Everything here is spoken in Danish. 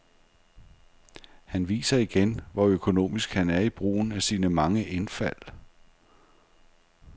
Han viser igen, hvor økonomisk han er i brugen af sine mange indfald.